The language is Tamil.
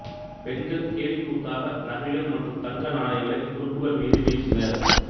பெண்கள் கேலிக்கூத்தாக நகைகள் மற்றும் தங்க நாணயங்களை துருப்புக்கள் மீது வீசினர்